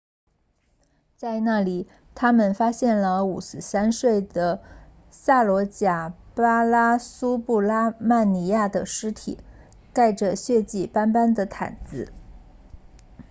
在那里他们发现了53岁的萨罗贾巴拉苏布拉曼尼亚的尸体盖着血迹斑斑的毯子